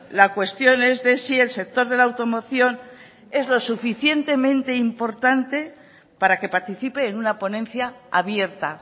la cuestión es de si el sector de la automoción es lo suficientemente importante para que participe en una ponencia abierta